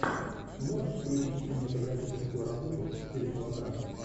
можешь включить кинематографическую работу в стиле мелодрамы